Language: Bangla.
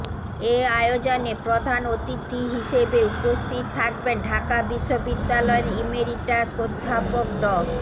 এ আয়োজনে প্রধান অতিথি হিসেবে উপস্থিত থাকবেন ঢাকা বিশ্ববিদ্যালয়ের ইমেরিটাস অধ্যাপক ড